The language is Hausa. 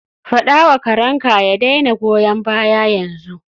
Faɗa wa karenka ya daina goyan baya yanzu.